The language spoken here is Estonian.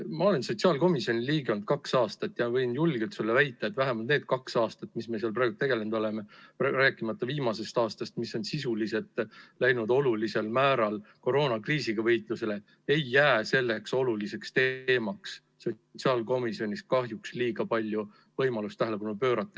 Ma olen sotsiaalkomisjoni liige olnud kaks aastat ja võin julgelt sulle väita, et vähemalt need kaks aastat, mis me seal praegu tegelenud oleme – rääkimata viimasest aastast, mis on sisuliselt läinud olulisel määral koroonakriisiga võitlusele –, ei ole sellele olulisele teemale sotsiaalkomisjonis kahjuks liiga palju võimalust tähelepanu pöörata jäänud.